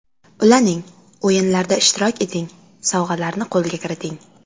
Ulaning, o‘yinlarda ishtirok eting, sovg‘alarni qo‘lga kiriting!